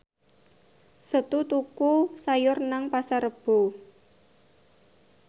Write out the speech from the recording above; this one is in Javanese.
Setu tuku sayur nang Pasar Rebo